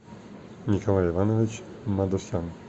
николай иванович мадусян